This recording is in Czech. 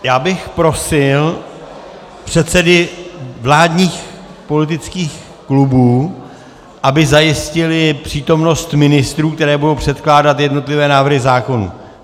Já bych prosil předsedy vládních politických klubů, aby zajistili přítomnost ministrů, kteří budou předkládat jednotlivé návrhy zákonů.